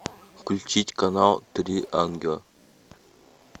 включить канал три ангела